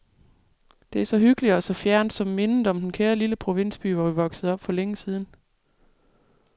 Det er så hyggeligt og så fjernt som mindet om den kære lille provinsby, hvor vi voksede op for længe siden.